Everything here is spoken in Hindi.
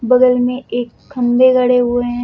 बगल में एक खंबे गड़े हुए है।